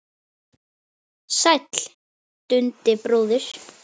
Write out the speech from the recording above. Sæll Dundi bróðir!